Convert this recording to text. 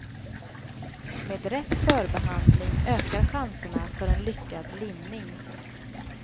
Med rätt förbehandling ökar chanserna för en lyckad limning.